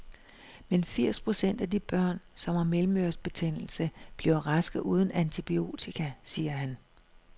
Men firs procent af de børn, som har mellemørebetændelse, bliver raske uden antibiotika, siger han.